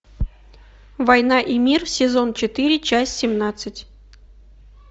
война и мир сезон четыре часть семнадцать